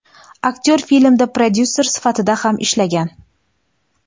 Aktyor filmda prodyuser sifatida ham ishlagan.